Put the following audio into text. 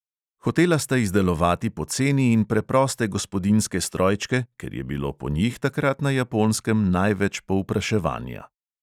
Hotela sta izdelovati poceni in preproste gospodinjske strojčke, ker je bilo po njih takrat na japonskem največ povpraševanja.